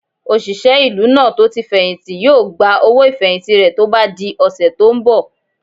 Òṣìṣẹ́ ìlú náà tó tí fẹ̀hìntì yóò gba owó ìfẹ̀hìntì rẹ̀ tó bá di ọ̀sẹ̀ tó n bọ̀